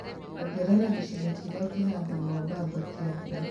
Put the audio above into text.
Ongerea gĩcigo kĩrĩa kĩhandagwo mbamba (kĩa mbura)